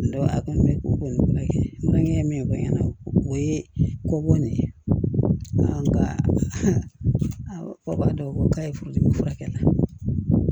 Dɔn a kɔni bɛ ko nin kɛ makan ye min fɔ n ɲɛna o ye ko bɔ nin ye nka ko b'a dɔn ko k'a ye furu dimi furakɛ